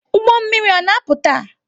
Ụgbọ mmiri a na-apụ taa?